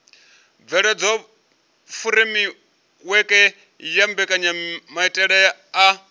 bveledza furemiweke ya mbekanyamaitele a